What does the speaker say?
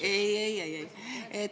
Ei-ei-ei-ei.